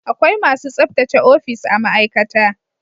Akwai masu tsabtace ofis a ma'aikata